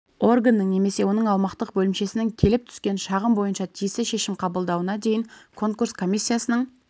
органның немесе оның аумақтық бөлімшесінің келіп түскен шағым бойынша тиісті шешім қабылдауына дейін конкурс комиссиясының